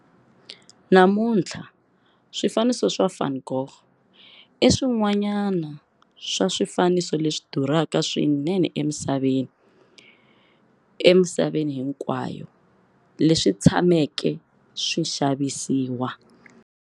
Namuntlha, swifaniso swa van Gogh i swin'wanyana swa swifaniso leswi durhaka swinene emisaveni hinkwayo leswi tshameke swi xavisiwa.